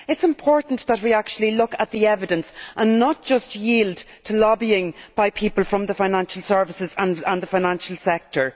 It is important that we actually look at the evidence and not just yield to lobbying by people from the financial services and the financial sector.